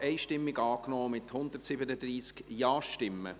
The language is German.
Sie haben diesen Antrag einstimmig angenommen, mit 137 Ja-Stimmen.